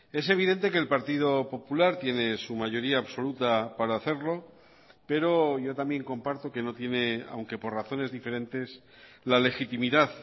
es evidente que el partido popular tiene su mayoría absoluta para hacerlo pero yo también comparto que no tiene aunque por razones diferentes la legitimidad